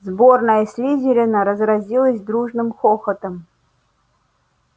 сборная слизерина разразилась дружным хохотом